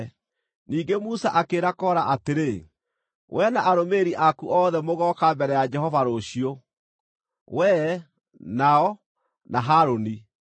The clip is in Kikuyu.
Ningĩ Musa akĩĩra Kora atĩrĩ, “Wee na arũmĩrĩri aku othe mũgooka mbere ya Jehova rũciũ, wee, nao, na Harũni.